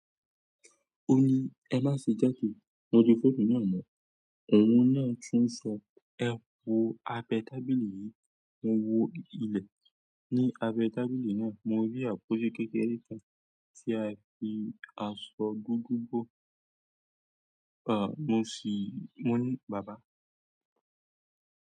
O ní, "Ẹ má ṣe játo, mo di fòonú náà mu." Òun náà tún sọ, "Ẹ wo abẹ́ tábìlì yìí." Mo wo ilẹ̀ ní abẹ́ tábìlì náà, mo rí àpótí kékeré kan tí a fi asọ dúdú bo, à, mo sì wí, mo ní, "bàbá."